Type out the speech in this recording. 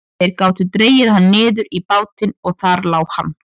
Þeir gátu dregið hann niður í bátinn og þar lá hann.